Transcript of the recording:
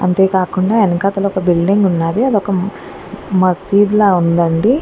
అంతేకాకుండా వెనకాతలకు బిల్డింగ్ ఉన్నది. అది ఒక మసీదు లా ఉందండి.